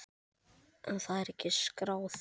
En það er ekki skráð.